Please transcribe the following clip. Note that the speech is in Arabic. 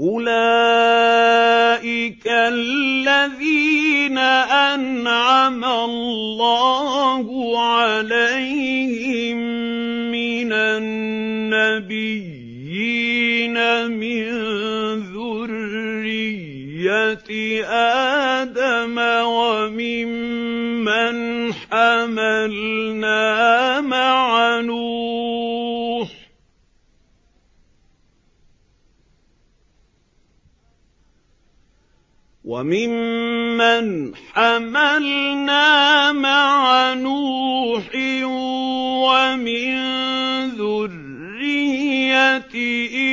أُولَٰئِكَ الَّذِينَ أَنْعَمَ اللَّهُ عَلَيْهِم مِّنَ النَّبِيِّينَ مِن ذُرِّيَّةِ آدَمَ وَمِمَّنْ حَمَلْنَا مَعَ نُوحٍ وَمِن ذُرِّيَّةِ